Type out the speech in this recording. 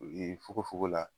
O ye fogofogo la